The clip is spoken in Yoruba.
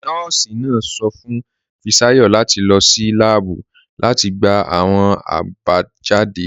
Nọọ̀sì náà sọ̀ fún Fisayo láti lọ́ sí làábù láti gbà awọn abajáde rẹ̀.